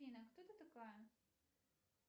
афина а кто ты такая